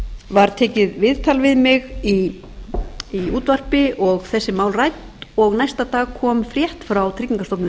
var tekið viðtal við mig í útvarpi og þessi mál rædd og næsta dag kom frétt frá tryggingastofnun